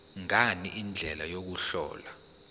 ngani indlela yokuhlola